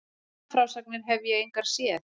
Blaðafrásagnir hefði ég engar séð.